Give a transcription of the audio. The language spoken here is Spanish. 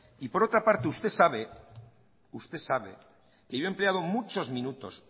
por otra parte usted sabe que yo he empleado